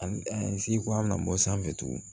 An si ko an bɛna bɔ sanfɛ tugun